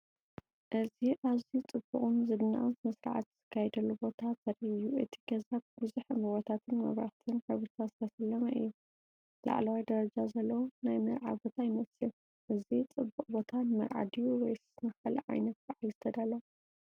እዚ ኣዝዩ ጽቡቕን ዝድነቕን ስነ-ስርዓት ዝካየደሉ ቦታ ዘርኢ እዩ። እቲ ገዛ ብብዙሕ ዕምባባታትን መብራህትን ሕብርታትን ዝተሰለመ እዩ። ላዕለዋይ ደረጃ ዘለዎ ናይ መርዓ ቦታ ይመስል። እዚ ጽቡቕ ቦታ ንመርዓ ድዩ ወይስ ንኻልእ ዓይነት በዓል ዝተዳለወ?